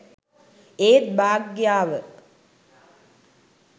ඒත් භාග්‍යාව